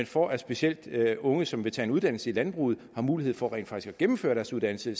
for at specielt unge som vil tage en uddannelse i landbruget en mulighed for rent faktisk at gennemføre deres uddannelse